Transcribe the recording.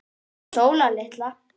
Hún Sóla litla?